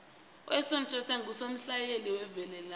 uleon schuster ngusomahlaya oveleleko